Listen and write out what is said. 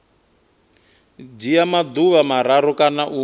dzhia maḓuvha mararu kana u